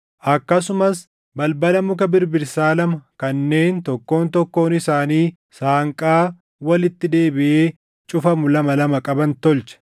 Akkasumas balbala muka birbirsaa lama kanneen tokkoon tokkoon isaanii saanqaa walitti deebiʼee cufamu lama lama qaban tolche.